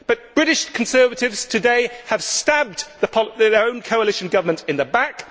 But British Conservatives today have stabbed their own coalition government in the back